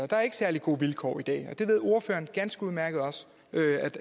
der ikke særlig gode vilkår det ved ordføreren også ganske udmærket